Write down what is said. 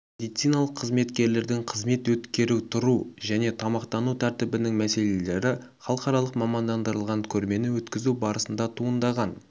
медициналық қызметкерлердің қызмет өткеру тұру және тамақтану тәртібінің мәселелері халықаралық мамандандырылған көрмені өткізу барысында туындаған